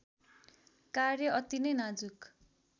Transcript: कार्य अति नै नाजु़क